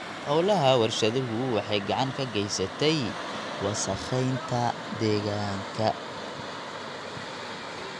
Hawlaha warshaduhu waxay gacan ka geystaan ??wasakheynta deegaanka.